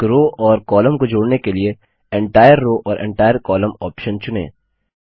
एक रो और कॉलम को जोड़ने के लिए एंटायर रोव और एंटायर कोलम्न ऑप्शन चुनें